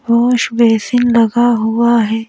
Wash basin लगा हुआ है।